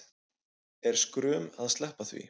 Er skrum að sleppa því